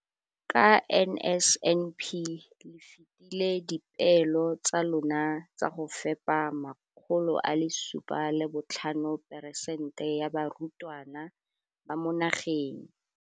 Ka NSNP le fetile dipeelo tsa lona tsa go fepa 75 percent ya barutwana ba mo nageng.